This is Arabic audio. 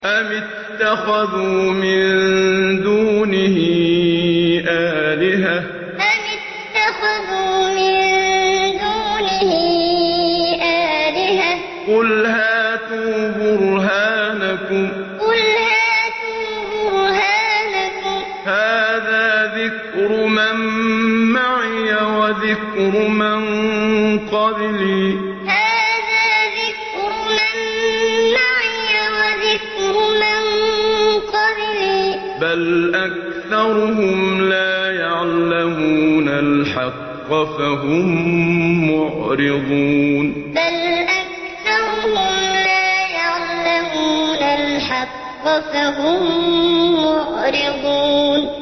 أَمِ اتَّخَذُوا مِن دُونِهِ آلِهَةً ۖ قُلْ هَاتُوا بُرْهَانَكُمْ ۖ هَٰذَا ذِكْرُ مَن مَّعِيَ وَذِكْرُ مَن قَبْلِي ۗ بَلْ أَكْثَرُهُمْ لَا يَعْلَمُونَ الْحَقَّ ۖ فَهُم مُّعْرِضُونَ أَمِ اتَّخَذُوا مِن دُونِهِ آلِهَةً ۖ قُلْ هَاتُوا بُرْهَانَكُمْ ۖ هَٰذَا ذِكْرُ مَن مَّعِيَ وَذِكْرُ مَن قَبْلِي ۗ بَلْ أَكْثَرُهُمْ لَا يَعْلَمُونَ الْحَقَّ ۖ فَهُم مُّعْرِضُونَ